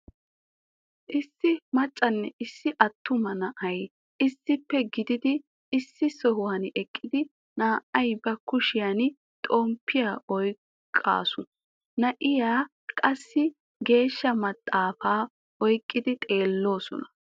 Issi maccanne issi attuma na'ay issippe gididi issi sohuwan eqqidi na'iya ba kushiyan xoomppiya oyqaasu, na'ay qassi geeshsha maxaafaa oyqqidi xeelloosona.